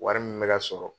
Wari min bɛ ka sɔrɔ